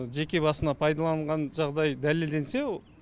жеке басына пайдаланған жағдай дәлелденсе